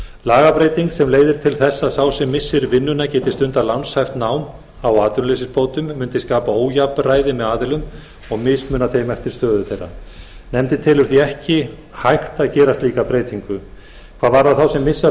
lagabreyting sem leiðir til þess að sá sem missir vinnuna geti stundað lánshæft nám á atvinnuleysisbótum mundi skapa ójafnræði með aðilum og mismuna þeim eftir stöðu þeirra nefndin telur því ekki hægt að gera slíka breytingu hvað varðar þá sem missa